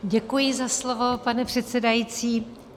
Děkuji za slovo, pane předsedající.